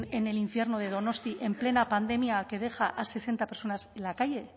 en el infierno de donostia en plena pandemia que deja a sesenta personas en la calle